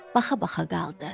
Baxa-baxa qaldı.